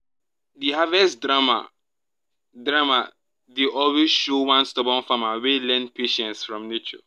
the harvest drama drama dey always show one stubborn farmer wey learn patience from nature.